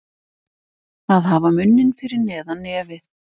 Að hafa munninn fyrir neðan nefið